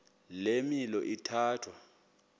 le milo ithatya